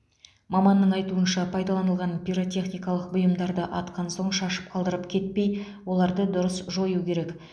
маманның айтуынша пайдаланылған пиротехникалық бұйымдарды атқан соң шашып қалдырып кетпей оларды дұрыс жою керек